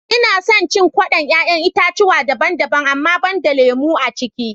Ina son cin kwaɗon 'ya'yan itatchuwa daban-daban amma banda lemu aciki